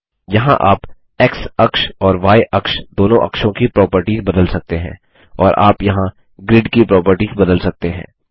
यहाँ आप एक्स अक्ष और य अक्ष दोनों अक्षों की प्रोपर्टिस बदल सकते हैं और आप यहाँ ग्रीड की प्रोपर्टिस बदल सकते हैं